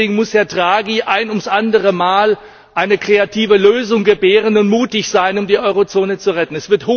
Deswegen muss Herr Draghi ein ums andere Mal eine kreative Lösung gebären und mutig sein, um die Eurozone zu retten.